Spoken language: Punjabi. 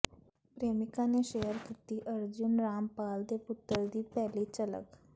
ਪ੍ਰੇਮਿਕਾ ਨੇ ਸ਼ੇਅਰ ਕੀਤੀ ਅਰਜੁਨ ਰਾਮਪਾਲ ਦੇ ਪੁੱਤਰ ਦੀ ਪਹਿਲੀ ਝਲਕ